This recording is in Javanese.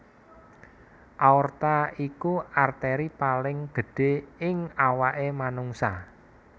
Aorta iku arteri paling gedhé ing awaké manungsa